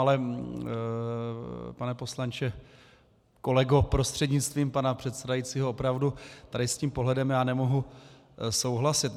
Ale pane poslanče, kolego, prostřednictvím pana předsedajícího, opravdu tady s tím pohledem já nemohu souhlasit.